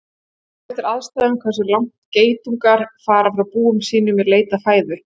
Það fer eftir aðstæðum hversu langt geitungar fara frá búum sínum í leit að fæðu.